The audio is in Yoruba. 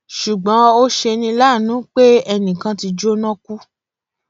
ṣùgbọn ó ṣe ní láàánú pé ẹnì kan ti jóná kú